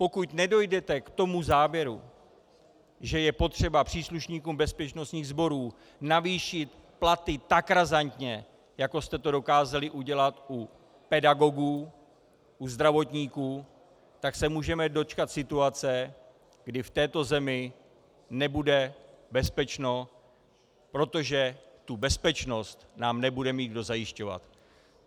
Pokud nedojdete k tomu závěru, že je potřeba příslušníkům bezpečnostních sborů navýšit platy tak razantně, jako jste to dokázali udělat u pedagogů, u zdravotníků, tak se můžeme dočkat situace, kdy v této zemi nebude bezpečno, protože tu bezpečnost nám nebude mít kdo zajišťovat.